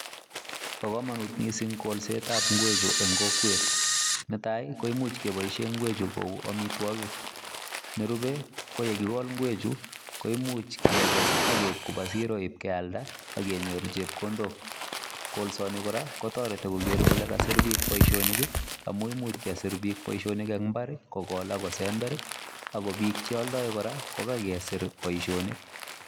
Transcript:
Bo kamanut missing kolset ab ngweek chuu en kokwet netai koimuuch kebaishen inngweech chu konuu amitwagik nerupe ko ye kigol ngweek chuu koimuuch kewas ii ako keib kobaa siroo iib keyalda ak akenyoor chepkondok kolsaan ni kora kotaretii Kroger kole kasiit biik boisionik amuun imuch kesiir biik boisionik en mbar ii kigol ak kosember ii ako biik che Aldair kora ko kagesiir boisionik.